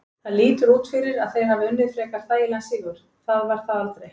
Það lítur út fyrir að þeir hafi unnið frekar þægilegan sigur, það var það aldrei.